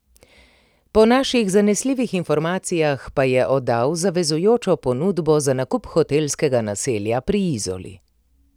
Po naših zanesljivih informacijah pa je oddal zavezujočo ponudbo za nakup hotelskega naselja pri Izoli.